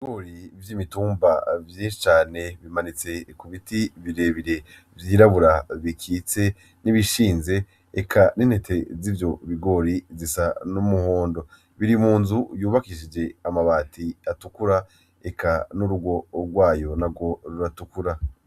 Ibigori vy'imitumba vyinshi cane bimanitse ku biti birebire vyirabura bikitse n'ibishinze eka n'intete zivyo bigori zisa n'umuhondo. Biri mu nzu yubakishije amabati atukura eka n'urugo rwayo narwo ruratukura.